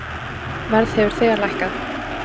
Verð hefur þegar lækkað.